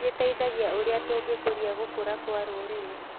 Gĩteithagia ũrĩa tũngĩkũria gũkũra kwa rũrĩrĩ.